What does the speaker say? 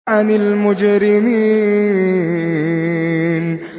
عَنِ الْمُجْرِمِينَ